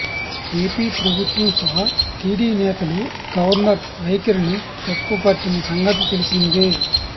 AP ప్రభుత్వం సహా TD నేతలు గవర్నర్ వైఖరిని తప్పుపట్టిన సంగతి తెలిసిందే